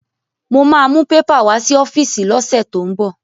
Mo ma mú pépà wá sí ọ́fíìsì lọ́sẹ̀ tó ń bọ̀